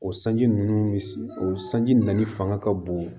O sanji ninnu o sanji nali fanga ka bon